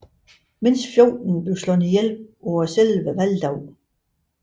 Mindst 14 blev slået ihjel på selve valgdagen